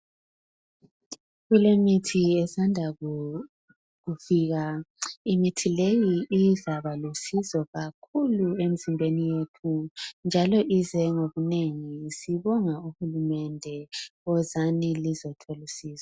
kulemithi esandakufika imithi leyi izabalusizo emizimbeni yethu njalo izengokunengi sibonga uhulumende wozani lizothola usizo